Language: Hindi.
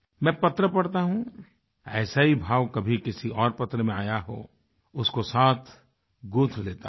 मैं पत्र पढता हूँ ऐसा ही भाव कभी किसी और पत्र में आया हो उसको साथ गूँथ लेता हूँ